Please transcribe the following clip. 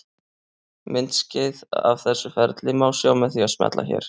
Myndskeið af þessu ferli má sjá með því að smella hér.